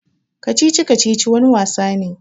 Kacici-kacici wani wasa ne.